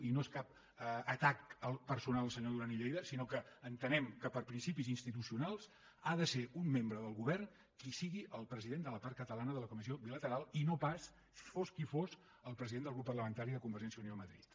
i no es cap atac personal al senyor duran i lleida sinó que entenem que per principis institucionals ha de ser un membre del govern qui sigui el president de la part catalana de la comissió bilateral i no pas fos qui fos el president del grup parlamentari de convergència i unió a madrid